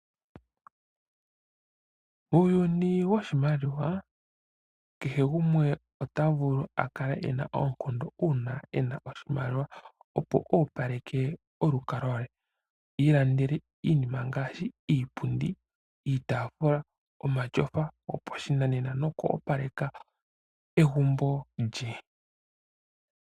Uuyuni woshimaliwa kehe gumwe ota vulu a kala e na oonkondo uuna e na oshimaliwa, opo oopaleke olukalwa lwe. I ilandele iinima ngaashi: iipundi, iitaafula omatyofa gopashinanena noku opaleka egumbo lye.